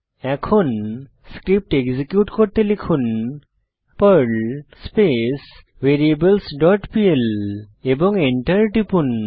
এখন script execute করতে লিখুন Perl space variables dot PL এবং এন্টার টিপুন